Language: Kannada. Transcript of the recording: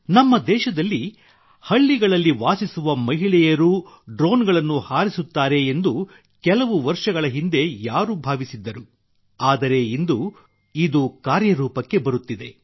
ನಮ್ಮ ದೇಶದಲ್ಲಿ ಹಳ್ಳಿಗಳಲ್ಲಿ ವಾಸಿಸುವ ಮಹಿಳೆಯರೂ ಡ್ರೋನ್ಗಳನ್ನು ಹಾರಿಸುತ್ತಾರೆ ಎಂದು ಕೆಲವು ವರ್ಷಗಳ ಹಿಂದೆ ಯಾರು ಭಾವಿಸಿದ್ದರು ಆದರೆ ಇಂದು ಇದು ಕಾರ್ಯರೂಪಕ್ಕೆ ಬರುತ್ತಿದೆ